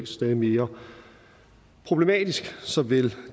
stadig mere problematisk såvel